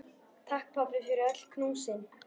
Takk, pabbi, fyrir öll knúsin.